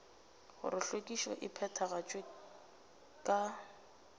gore hlwekišo e phethagatšwa ka